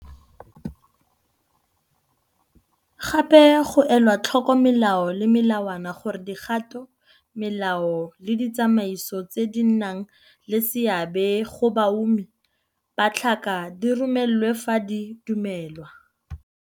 Gape, go elwa tlhoko melao le melawana gore Dikgato, Melao le Ditsamaiso tse di nnang le seabe go baumi ba tlhaka di romelwe fa di dumelwa.